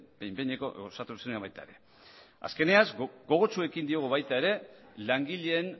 azkenean gogotsu ekin diogu baita langileen